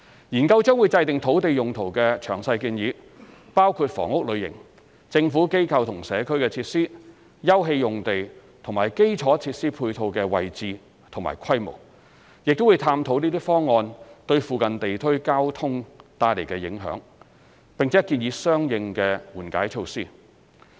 研究將會制訂土地用途詳細建議，包括房屋類型、"政府、機構或社區"設施、休憩用地和基礎設施配套的位置及規模，亦會探討這些方案對附近地區交通帶來的影響，並建議相應的緩解措施。